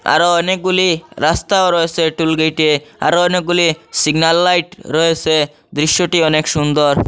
আরো অনেকগুলি রাস্তাও রয়েসে টুল গেটে আরো অনেকগুলি সিগন্যাল লাইট রয়েসে দৃশ্যটি অনেক সুন্দর।